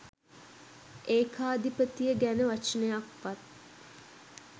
ඒකාධිපතිය ගැන වචනයක්වත්